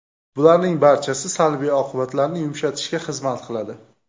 Bularning barchasi salbiy oqibatlarni yumshatishga xizmat qiladi.